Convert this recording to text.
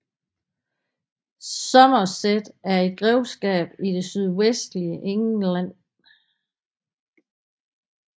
Somerset er et grevskab i det sydvestlige England